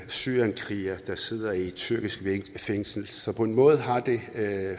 syrienskriger der sidder i et tyrkisk fængsel så på en måde har det